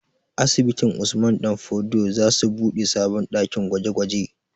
Asibitin Usman ɗan fodio za su buɗe sabon ɗakin gwaje gwaje